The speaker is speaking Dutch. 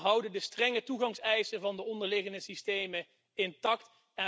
We houden de strenge toegangseisen van de onderliggende systemen intact.